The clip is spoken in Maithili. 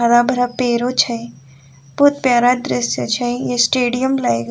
हरा-भरा पेड़ो छै बहुत प्यारा दृश्य छै स्टेडियम लाएग --